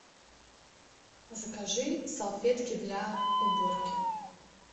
закажи салфетки для уборки